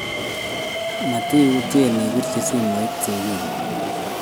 Matiutyen ibirchi simet sigiiguk